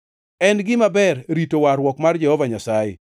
en gima ber rito warruok mar Jehova Nyasaye.